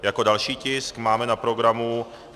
Jako další tisk máme na programu